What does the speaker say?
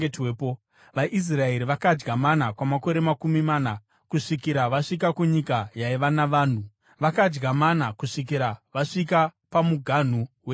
VaIsraeri vakadya mana kwamakore makumi mana, kusvikira vasvika kunyika yaiva navanhu; vakadya mana kusvikira vasvika pamuganhu weKenani.